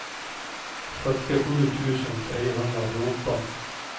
fyrtiosju tusen trehundrafjorton